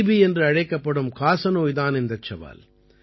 DP என்று அழைக்கப்படும் காசநோய் தான் அந்தச் சவால்